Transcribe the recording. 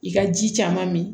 I ka ji caman min